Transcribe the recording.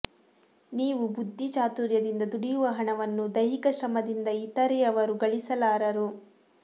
ನೀವು ಬುದ್ಧಿ ಚಾತುರ್ಯದಿಂದ ದುಡಿಯುವ ಹಣವನ್ನು ದೈಹಿಕ ಶ್ರಮದಿಂದ ಇತರೆಯವರು ಗಳಿಸಲಾರರು